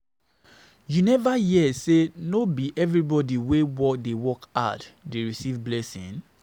You neva hear sey no be everybodi wey dey work hard dey receive blessing?